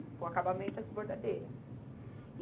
Para o acabamento e as bordadeiras.